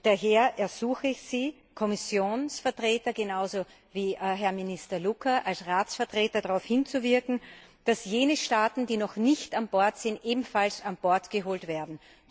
Daher ersuche ich Sie, Kommissionsvertreter genauso wie Herrn Minister Louca als Ratsvertreter, darauf hinzuwirken, dass jene Staaten, die noch nicht an Bord sind, ebenfalls an Bord geholt werden.